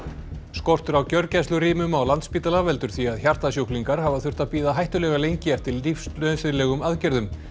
skortur á gjörgæslurýmum á Landspítala veldur því að hjartasjúklingar hafa þurft að bíða hættulega lengi eftir lífsnauðsynlegum aðgerðum